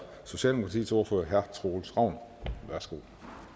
socialdemokratiets ordfører herre troels ravn værsgo